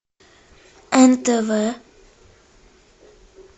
нтв